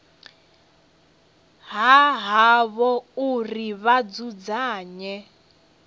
ha havho uri vha dzudzanye